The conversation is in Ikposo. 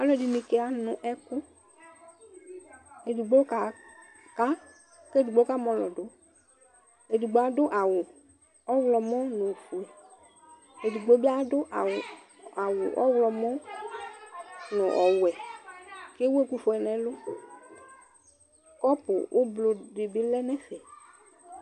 Alʋ ɛdini kanʋ ɛkʋ Edigbo kaka kʋ edigbo kamɔlɔ dʋ, edigbo adʋ awʋ ɔwlɔmɔ nʋ ofue, edigbo bi adʋ awʋ ɔwlɔmɔ nʋ owʋɛ kʋ ewʋ ɛkʋfue nʋ ɛlʋ Kɔpu ʋblʋ dibi lɛnʋ ɛfɛ